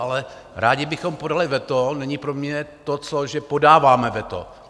Ale "rádi bychom podali veto" není pro mě to, že podáváme veto.